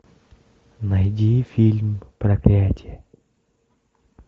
найди фильм проклятье